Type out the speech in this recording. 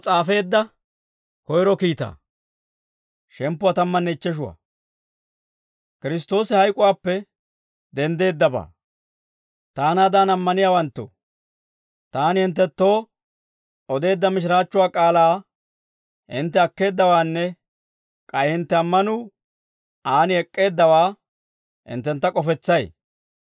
Taanaadan ammaniyaawanttoo, taani hinttenttoo odeedda mishiraachchuwaa k'aalaa hintte akkeeddawaanne k'ay hintte ammanuu aan ek'k'eeddawaa hinttentta k'ofetsay.